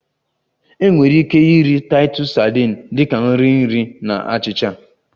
Enwere ike iri Titus sadin dị ka nri nri na achịcha